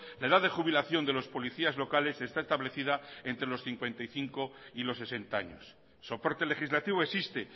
la edad de jubilación de los policías locales está establecida entre los cincuenta y cinco y los sesenta años soporte legislativo existe